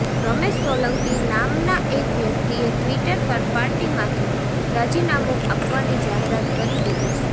રમેશ સોલંકી નામના એક વ્યક્તિએ ટ્વીટર પર પાર્ટીમાંથી રાજીનામું આપવાની જાહેરાત કરી દીધી છે